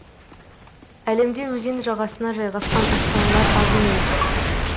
әлемде өзен жағасына жайғасқан астаналар аз емес